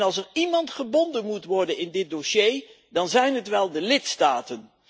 En als er iemand gebonden moet worden in dit dossier, dan zijn het wel de lidstaten.